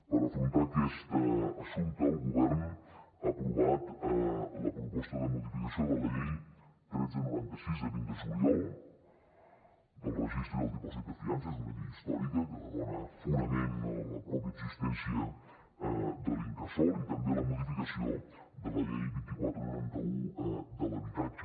per afrontar aquest assumpte el govern ha aprovat la proposta de modificació de la llei tretze noranta sis de vint de juliol del registre i el dipòsit de fiances és una llei històrica que dona fonament a la mateixa existència de l’incasòl i també la modificació de la llei vint quatre noranta un de l’habitatge